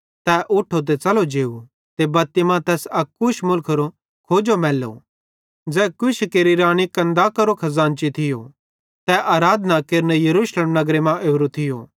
तै उठो ते च़लो जेव ते बत्ती मां तैस अक कूश मुलखेरो खोजो मैल्लो ज़ै कूशी केरि रानी कन्दाकारो खज़ानची थियो तै आराधना केरने यरूशलेम नगरे मां ओरो थियो